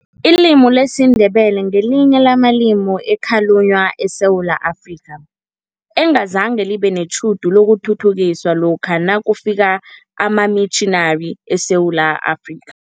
Ilimi lesiNdebele ngelinye lamalimi ekhalunywa eSewula Afrika, engazange libe netjhudu lokuthuthukiswa lokha nakufika amamitjhinari eSewula Afrika.